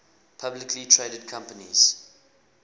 publicly traded companies